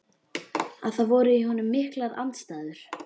Að það voru í honum miklar andstæður.